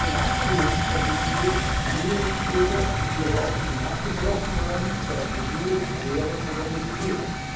Wir brauchen eine Nachschulungsoffensive für jene EU Bürger, die ihre Ausbildung abgebrochen haben, sei es in der Schule, Lehre oder Universität.